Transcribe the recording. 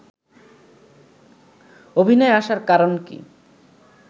অভিনয়ে আসার কারণ কী